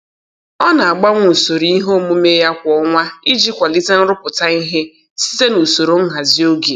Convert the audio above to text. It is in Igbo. Ọ na-agbanwe usoro ihe omume ya kwa ọnwa iji kwalite nrụpụta ihe site n'usoro nhazi oge.